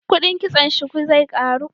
Kudin kitson shuku zai karu